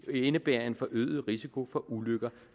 indebære en forøget risiko for ulykker